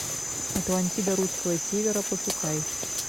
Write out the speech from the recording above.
атлантида русского севера пошукай